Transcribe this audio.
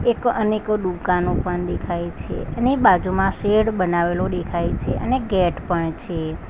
એક અનેક દુકાનો પણ દેખાય છે અને બાજુમાં શેડ બનાવેલો દેખાય છે અને ગેટ પણ છે.